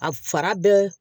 A fara bɛɛ